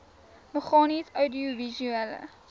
meganies oudiovisuele